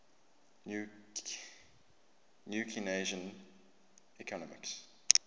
new keynesian economics